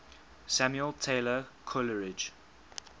samuel taylor coleridge